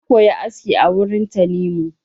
Na koya aski a wurin Tanimu.